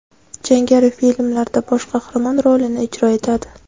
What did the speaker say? Jangari filmlarda bosh qahramon rolini ijro etadi.